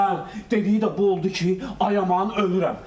Hə, dediyi də bu oldu ki, ay aman ölürəm.